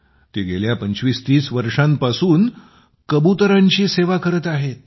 ते गेल्या 2530 वर्षापासून कबुतरांची सेवा करत आहे